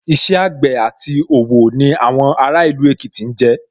Iṣẹ́ àgbẹ̀ àti òwò ni àwọn ará ìlú Èkìtì jẹ́